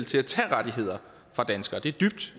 til at tage rettigheder fra danskere det er dybt